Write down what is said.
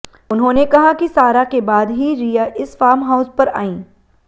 उन्होंने कहा कि सारा के बाद ही रिया इस फार्महाउस पर आईं